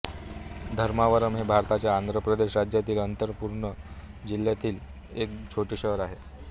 धर्मावरम हे भारताच्या आंध्र प्रदेश राज्यातील अनंतपूर जिल्ह्यातील एक छोटे शहर आहे